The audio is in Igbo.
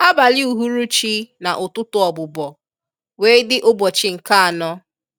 Abalị uhuruchi na ụtụtụ ọbụbọ wee dị ụbọchị nke anọ.